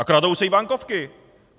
A kradou se i bankovky!